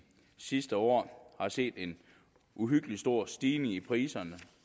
sidste år har set en uhyggelig stor stigning i priserne